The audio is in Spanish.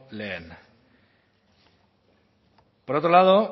lehen por otro lado